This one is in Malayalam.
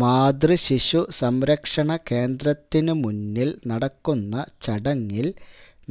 മാതൃശിശു സംരക്ഷണ കേന്ദ്രത്തിനു മുന്നില് നടക്കുന്ന ചടങ്ങില്